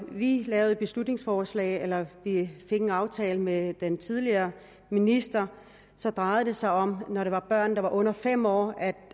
vi lavede et beslutningsforslag eller fik en aftale med den tidligere minister så drejede det sig om at når det var børn der var under fem år